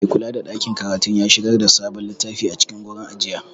Maikulada ɗakin karatu ya shigar da sabon littafi a cikin gurin ajiya.